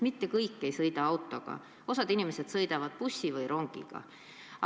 Mitte kõik ei sõida autoga, osa inimesi sõidab bussi või rongiga.